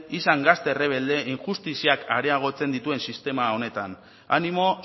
izan gazte errebelde injustiziak areagotzen dituen sistema honetan animo